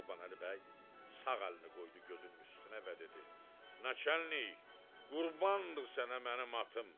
Qurbanəli bəy sağ əlini qoydu gözünün üstünə və dedi: "Naçalnik, qurbandır sənə mənim atım."